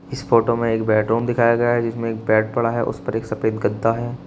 इस फोटो में एक बेडरूम दिखाया गया है जिसमें एक बेड पड़ा है उस पर एक सफेद गद्दा है।